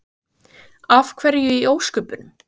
Ásgeir: Af hverju í ósköpunum?